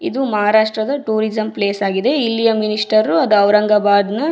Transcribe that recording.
ಇದು ಮಹಾರಾಷ್ಟ್ರದ tourism place ಆಗಿದೆ. ಇಲ್ಲಿಯ ಮಿನಿಸ್ಟರ್ ಅದ್ ಔರಂಗಾಬಾದ್ನ --